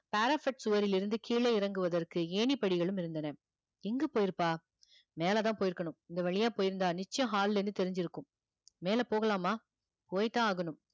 parapet சுவரிலிருந்து கீழே இறங்குவதற்கு ஏணி படிகளும் இருந்தன எங்க போயிருப்பா மேல தான் போயிருக்கணும் இந்த வழியா போயிருந்தா நிச்சயம் hall ல இருந்து தெரிஞ்சிருக்கும் மேல போகலாமா போய் தான் ஆகணும்